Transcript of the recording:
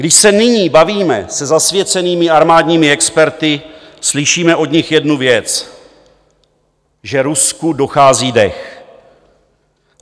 Když se nyní bavíme se zasvěcenými armádními experty, slyšíme od nich jednu věc: že Rusku dochází dech.